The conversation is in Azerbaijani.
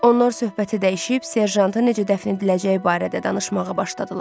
Onlar söhbəti dəyişib serjantı necə dəfn ediləcəyi barədə danışmağa başladılar.